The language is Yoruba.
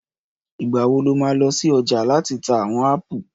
Ìgbà wo lo má lọ sí ọjà láti ta àwon ápù?